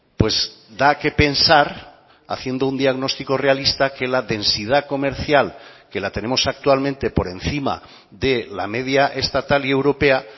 pues da qué pensar haciendo un diagnóstico realista que la densidad comercial que la tenemos actualmente por encima de la media estatal y europea